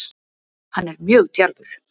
Hann er mjög djarfur